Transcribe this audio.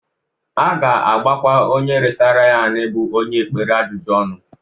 A ga-agbakwa onye resara ya anị bụ onye ekpere ajụjụ ọnụ.